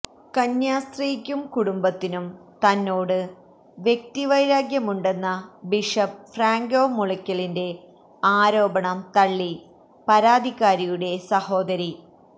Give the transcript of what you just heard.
കന്യാസ്ത്രീക്കും കുടുംബത്തിനും തന്നോട് വ്യക്തിവൈരാഗ്യമുണ്ടെന്ന ബിഷപ്പ് ഫ്രാങ്കോ മുളക്കലിന്റെ ആരോപണം തള്ളി പരാതിക്കാരിയുടെ സഹോദരി